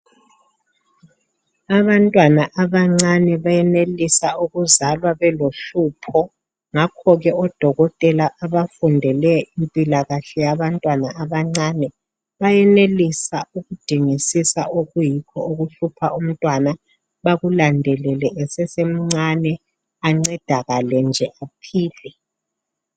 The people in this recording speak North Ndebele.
Abantwana abancane bayenelisa ukuzalwa belohlupho, ngakho ke odokotela abafundele impilakahle yabantwana abancane bayenelisa ukudingisisa okuyikho okuhlupha umntwana bakulandelele esesemncane. Ancedakale nje aphile.